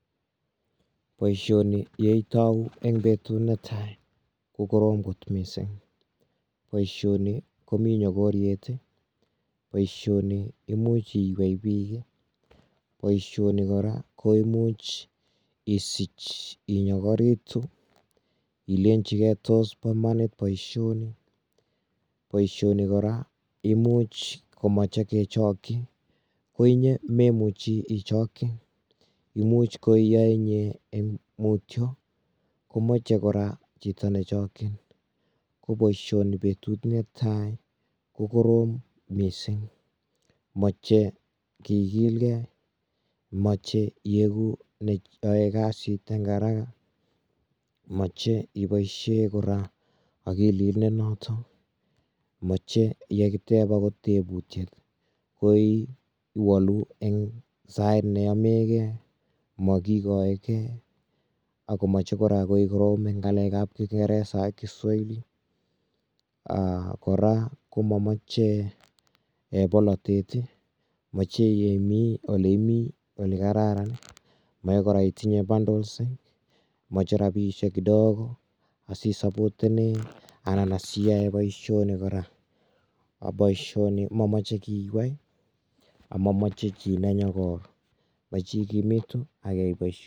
Boisioni yeitau eng betut netai kokorom kot mising. Boisioni komi nyokoriet boisioni imuch iywei bik boisioni kora koimuch isich inyokoritu ilenjigei tos bomanit boisioni. Boisioni kora imuch komoche kechokyi ko inye memuchi ichokyi imuch koioe inye eng mutyo komache kora chito nechokchin koboisioni betut netai kokorom mising moche kikilgei moche iegu neoe kasiteng haraka moche iboisie kora akilit nenoto moche yekiteb angot tebutiet koiwalu eng sait neyomegei makikoigei akomoche kora koikoromeng ngalekab kingeresa ak kiswahili aah kora komamoche bolotet moche yeimi oleimi olekokararan moche kora itinye bundles moche rabisiek kidogo asiisupoteni anan asiae boisioni kora aboisioni komamoche kiywei amomoche chi nenyogor moche igimitu akiyai boisiet.